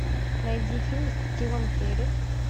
найди фильм с джимом керри